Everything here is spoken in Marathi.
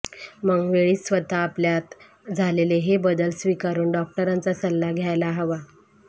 मग वेळीच स्वतः आपल्यात झालेले हे बदल स्वीकारून डॉक्टरांचा सल्ला घ्यायला हवा